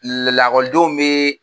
Lelakɔlidenw bee